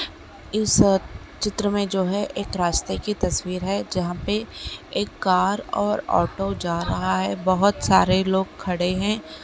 इस चित्र में जो है एक रास्ते की तस्वीर है जहां पे एक कार और ऑटो जा रहा है। बहोत सारे लोग खड़े हैं।